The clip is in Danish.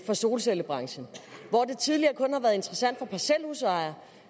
solcellebranchen hvor det tidligere kun har været interessant for parcelhusejere